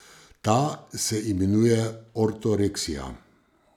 Ta se imenuje ortoreksija.